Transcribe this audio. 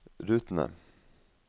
rutene